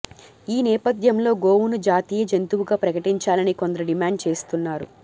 ఈ నేపథ్యంలో గోవును జాతీయ జంతువుగా ప్రకటించాలని కొందరు డిమాండ్ చేస్తున్నారు